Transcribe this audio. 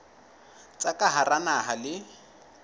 tsa ka hara naha le